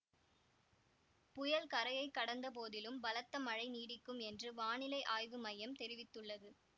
புயல் கரையை கடந்த போதிலும் பலத்த மழை நீடிக்கும் என்று வானிலை ஆய்வு மையம் தெரிவித்துள்ளது